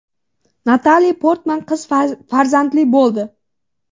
Natali Portman qiz farzandli bo‘ldi.